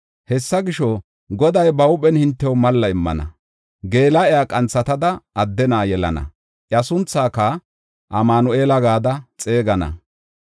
Hessa gisho, Goday ba huuphen hintew malla immana; geela7iya qanthatada adde na7a yelana; iya sunthaaka Amanu7eela gada xeegana.